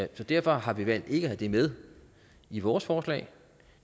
derfor har vi valgt ikke at have det med i vores forslag